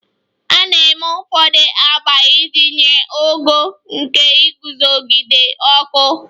A na-eme ụfọdụ agba iji nye ogo nke iguzogide ọkụ.